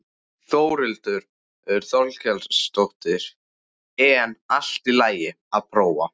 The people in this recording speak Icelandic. Þórhildur Þorkelsdóttir: En allt í lagi að prófa?